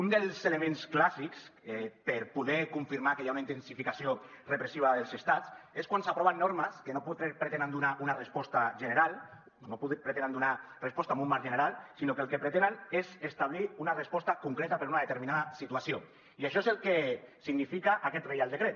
un dels elements clàssics per poder confirmar que hi ha una intensificació repressiva dels estats és quan s’aproven normes que no pretenen donar una resposta general no pretenen donar resposta en un marc general sinó que el que pretenen és establir una resposta concreta per a una determinada situació i això és el que significa aquest reial decret